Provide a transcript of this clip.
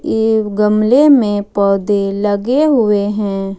एक गमले में पौधे लगे हुए हैं।